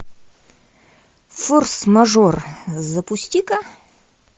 форс мажор запусти ка